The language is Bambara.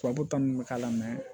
Tubabu kan bɛ k'a la